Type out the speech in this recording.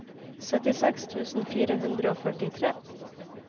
syttiseks tusen fire hundre og førtitre